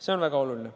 See on väga oluline.